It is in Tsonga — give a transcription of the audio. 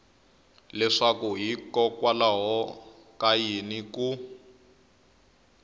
leswaku hikokwalaho ka yini ku